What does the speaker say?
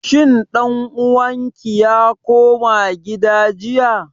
Shin ɗan uwan ki ya koma gida jiya?